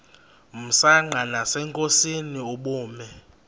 msanqa nasenkosini ubume